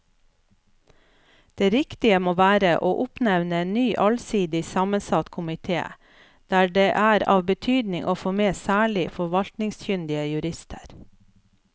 Det riktige må være å oppnevne en ny allsidig sammensatt komite der det er av betydning å få med særlig forvaltningskyndige jurister.